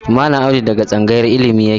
Mallam Audu daga tsangayar illimi yake.